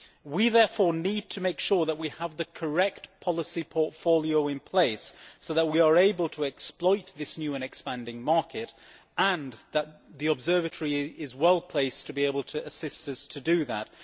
We therefore need to make sure that we have the correct policy portfolio in place so that we are able to exploit this new and expanding market, and that the Observatory is well placed to be able to assist us to do that.